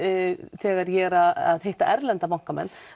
þegar ég er að hitta erlenda bankamenn